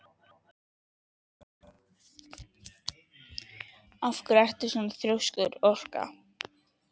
Af hverju ertu svona þrjóskur, Orka?